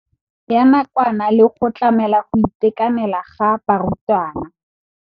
Ya nakwana le go tlamela go itekanela ga barutwana.